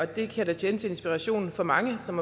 det kan da tjene til inspiration for mange som